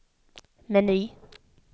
meny